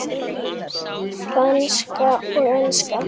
Franska og enska.